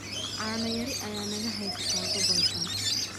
Caano yari ayaa naga haysata gobolkan.